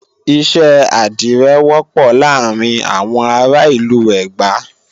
iṣẹ́ àdirẹ wọ́pọ̀ láàrin àwọn ará ìlú Ẹ̀gbá